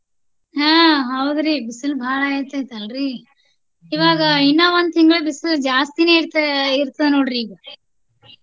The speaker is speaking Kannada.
ಆಹ್ ಹೌದ್ರಿ ಬಿಸಿಲು ಬಾಳ ಆಗಾತೇತಿ ಅಲ್ರಿ ಇವಾಗ ಇನ್ನ ಒಂದ ತಿಂಗಳ ಬಿಸಿಲು ಜಾಸ್ತಿನೆ ಇರ್ತ ಆಹ್ ಇರ್ತದ ನೋಡ್ರಿ.